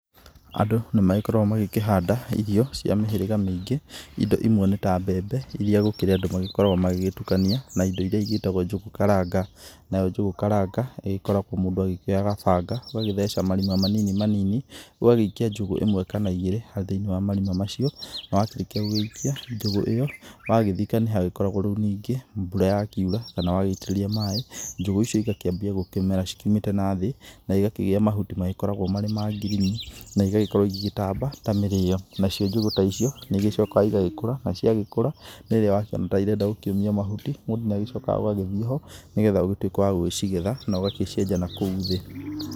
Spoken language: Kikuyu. Andũ nĩ magĩkoragwo magĩkĩhanda irio cia mĩhĩrĩga mĩingĩ indo imwe nĩ ta mbembe irĩa gũkĩrĩ andũ magĩkoragwo magĩgĩtukania na indo iria igĩtagwo njugu karanga nayo njugu karanga igĩkoragwo mũndũ agĩkĩoya kabanga ũgagĩtheca marima manini manini ũgagĩikia njugu imwe kana igĩrĩ thĩinĩ wa marima macio nawakĩrĩkia gũikia njugu ĩyo wagĩthika nĩ hagĩkoragwo ningĩ rĩu mbũra ya kiura kana wagĩitĩrĩria maĩ njugu icio igakĩambia gũkĩmera ciũmĩte na thĩ na igakĩgia mahuti marĩ ma ngirini na igagĩkorwo igĩgĩtamba ta mĩrĩo nacio njugu ta icio nĩ igĩcokaga igagĩkũra na cia gĩkũra rĩrĩa wakiona ta irenda kũmia mahuti mũndũ ni agĩcokaga agagithiĩ ho nĩgetha ũgĩtuĩke wa gũcigetha na ũgagĩcienja nakũu thĩ.